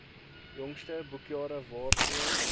jongste boekjare waarvoor